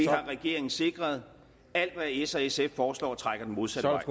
har regeringen sikret alt hvad s og sf foreslår trækker den modsatte